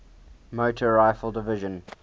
motor rifle division